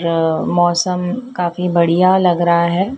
अह मौसम काफी बढ़िया लग रहा है।